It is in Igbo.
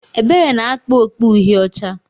Ebere na-akpa okpu Uhie ọcha.